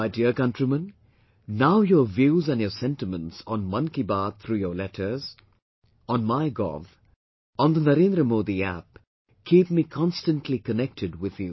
My dear countrymen, now your views and your sentiments on 'Mann Ki Baat' though your letters, on MyGov, on NaarendraModiApp keep me constantly connected with you